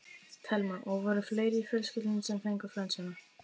Telma: Og voru fleiri í fjölskyldunni sem fengu flensuna?